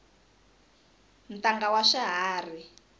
ntanga wa swiharhi